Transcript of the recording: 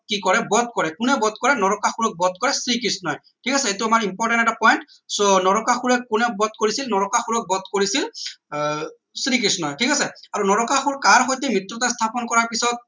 কি কৰে বধ কৰে কোনে বধ কৰে নৰকাসুৰক বধ কৰে শ্ৰীকৃষ্ণয় ঠিক আছে এইটো আমাৰ important এটা point so নৰকাসুৰক কোনে বধ কৰিছিল নৰকাৰসুৰক বধ কৰিছিল আহ শ্ৰীকৃষ্ণয় ঠিক আছে এইটো আমাৰ important এটা point so নৰকাসুৰক কোনে বধ কৰিছিল নৰকাসুৰক বধ কৰিছিল আহ শ্ৰীকৃষ্ণয় ঠিক আছে আৰু নৰকাসুৰ কাৰ সৈতে মৃত্যতা স্থাপন কৰাৰ পিছত